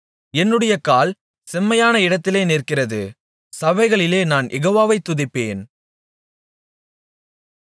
என்னுடைய கால் செம்மையான இடத்திலே நிற்கிறது சபைகளிலே நான் யெகோவாவை துதிப்பேன்